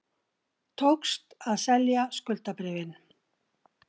Tókst að selja skuldabréfin